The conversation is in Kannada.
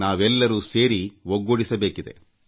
ನಾವೆಲ್ಲರೂ ಸೇರಿ ಒಗ್ಗೂಡಿಸಬೇಕಿದೆ